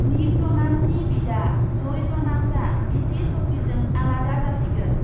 निक जनासनि बिदा जइ जनासआ बिसि सफिजों आलादा जासिगोन।